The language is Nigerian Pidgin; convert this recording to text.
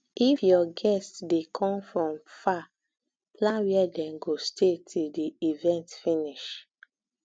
if your guests de come from far plan where dem go stay till di event finish